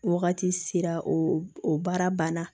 Wagati sera o baara banna